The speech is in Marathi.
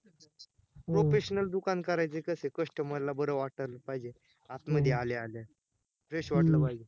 professional दुकान करायचे कशे customer ला बर वाटल पाहिजे, आत मध्ये आल्या आल्या fresh वाटल पाहिजे